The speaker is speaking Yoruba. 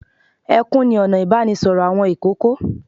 Ẹkún ni ọ̀nà ìbánisọ̀rọ̀ àwọn ìkókó.